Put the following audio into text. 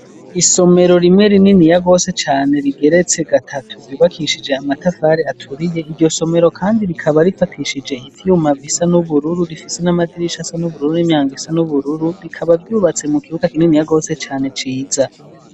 Isomero rimwe, rininiya gose cane, rigeretse gatatu, ryubakishije amatafari aturiye; iryo somero kandi, rikaba rifatishije ivyuma, bisa n'ubururu; rifise n'amadirisha, asa n'ubururu, n'imyango isa n'ubururu; rikaba ryubatse, mu kibuga, kininiya gose cane, ciza.